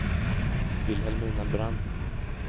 Vilhelmina Brandt